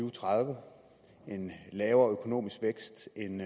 og tredive en lavere økonomisk vækst end